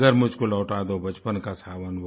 मगर मुझको लौटा दो बचपन का सावन